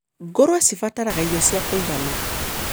Ngũrũwe cibataraga irio cia kũigana.